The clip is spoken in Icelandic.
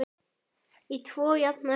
Í tvo jafna hluta.